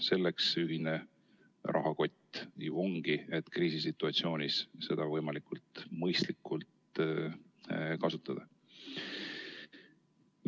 Selleks see ühine rahakott ju ongi, et kriisisituatsioonis seda võimalikult mõistlikult kasutada.